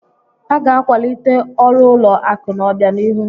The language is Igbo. A ga-akwalite ọrụ ụlọ akụ n'obianihu.